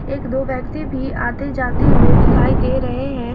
एक दो व्यक्ति भी आते जाते दिखाई दे रहे हैं।